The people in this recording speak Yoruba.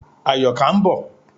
Àyọ̀ká ń bọ̀.